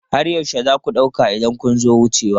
Har yaushe za ku ɗauka idan kun zo wucewa?